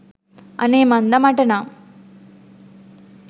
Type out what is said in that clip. අනේ මන්දා මට නම්